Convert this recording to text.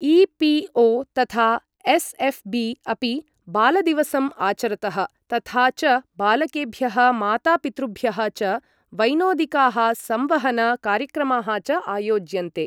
EPO. तथा SLB. अपि बालदिवसम् आचरतः, तथा च बालकेभ्यः मातापितृभ्यः च वैनोदिकाः संवहन कार्यक्रमाः च आयोज्यन्ते।